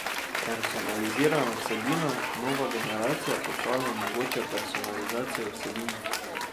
Personalizirana vsebina Nova generacija portalov omogoča personalizacijo vsebin.